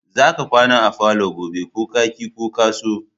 Za ka kwana a falo gobe ko ka ki ko ka so!